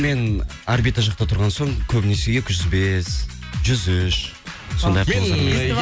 мен орбита жақта тұрған соң көбінесе екі жүз бес жүз үш сондай автобустармен